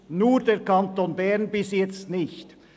Nur der Kanton Bern macht das bis jetzt nicht.